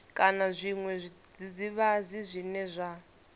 kana zwiṅwe zwidzidzivhadzi zwine zwa